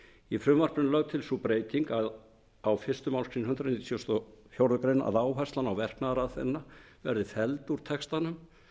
í frumvarpinu er lögð til sú breyting á fyrstu málsgrein hundrað nítugasta og fjórðu grein að áherslan á verknaðaraðferðina verði felld út úr textanum